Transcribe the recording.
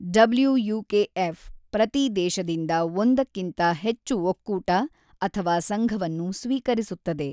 WUKF. ಪ್ರತೀ ದೇಶದಿಂದ ಒಂದಕ್ಕಿಂತ ಹೆಚ್ಚು ಒಕ್ಕೂಟ ಅಥವಾ ಸಂಘವನ್ನು ಸ್ವೀಕರಿಸುತ್ತದೆ.